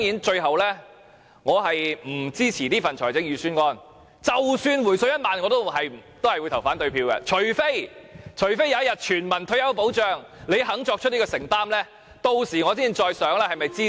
最後，我不支持這份預算案，即使政府真的"回水 "1 萬元，我也會投反對票；除非有一日，政府願意作出全民退休保障的承擔，我才會考慮是否支持。